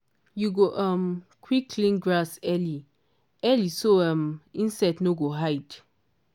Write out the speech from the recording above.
you go um quick clear grass early early so um insect no go hide.